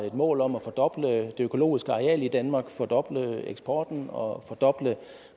et mål om at fordoble det økologiske areal i danmark fordoble eksporten og fordoble